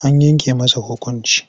An yanke masa hukunci.